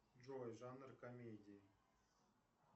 джой жанр комедии